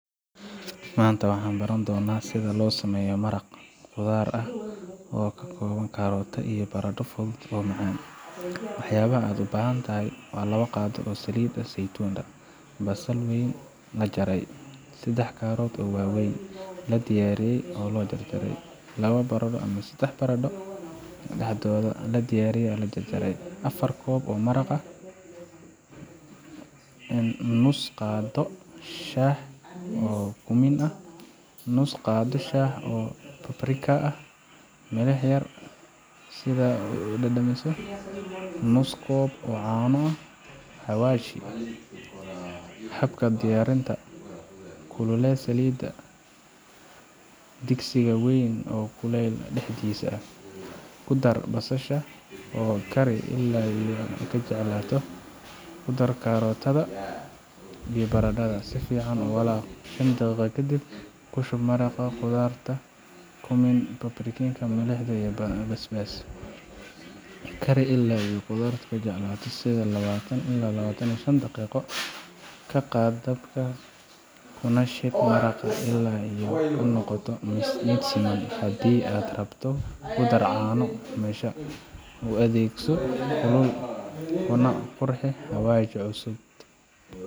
Maanta waxaan baran doonaa sida loo sameeyo maraq khudaar ah oo ka kooban karootada iyo baradho, oo fudud oo macaan. Waxyaabaha aad u baahan tahay labo qaado oo saliid saytuun ah basal weyn, la jarjaray sedax karootada waaweyn, la diiray oo la jarjaray labo baradho ama sedax baradho dhexdhexaad ah, la diiray oo la jarjaray afar koob oo maraq nus qaado shaah oo kumin ah nus qaado shaah oo paprika ah Milix iyo basbaas, sidaad u dhadhamiso nus koob caano Xawaash cusub Habka diyaarinta: Ku kululee saliidda sufur weyn oo kuleyl dhexdhexaad ah. Ku dar basasha oo kari ilaa ay ka jilcayso, Ku dar karootada iyo baradhada, si fiican u walaaq, oo kari shan daqiiqo kadib Ku shub maraqa khudaarta, kumin, paprika, milix iyo basbaas. Kari ilaa ay khudaartu jelaato, sida labaatan ilaa laba tan iyo shan daqiiqo. Ka qaad dabka, kuna shiid maraqa ilaa uu ka noqdo mid siman. Haddii aad rabto, ku dar caano qumbaha U adeegso kulul, kuna qurxi xawaash cusub.